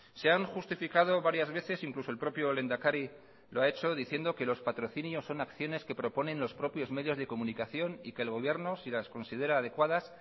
se han justificado varias veces incluso el propio lehendakari lo ha hecho diciendo que los patrocinios son acciones que proponen los propios medios de comunicación y que el gobierno si las considera adecuadas